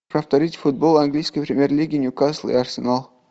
повторить футбол английской премьер лиги ньюкасл и арсенал